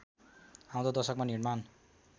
आउँदो दशकमा निर्माण